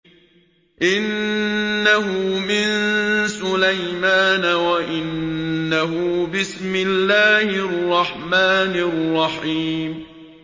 إِنَّهُ مِن سُلَيْمَانَ وَإِنَّهُ بِسْمِ اللَّهِ الرَّحْمَٰنِ الرَّحِيمِ